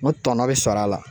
N ko tɔnɔ be sɔrɔ a la